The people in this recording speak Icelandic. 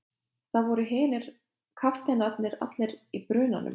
Þá voru hinir kafteinarnir allir í brunanum.